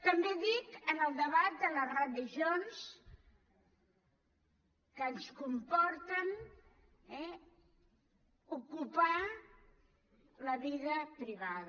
també dic en el debat de les religions que ens comporten ocupar la vida privada